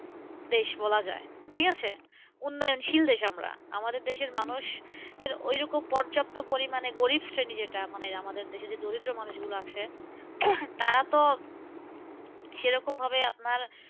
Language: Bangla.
দেশ বলা যায়, ঠিকাছে? উন্নয়নশীল দেশ আমরা। আমাদের দেশের মানুষ এর ওইরকম পর্যাপ্ত পরিমানে গরিবশ্রেণী যেটা মানে আমাদের দেশে যে দরিদ্র মানুষ গুলো আছে, তারা তো সেরকম ভাবে আপনার